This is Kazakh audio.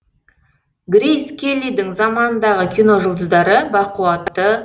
грейс келлидің заманындағы кино жұлдыздары бақуатты